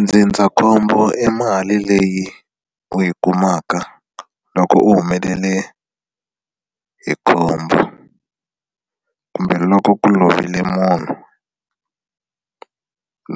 Ndzindzakhombo i mali leyi u yi kumaka loko u humelele hi khombo kumbe loko ku lovile munhu